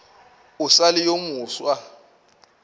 o sa le yo mofsa